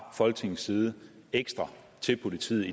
folketingets side ekstra til politiet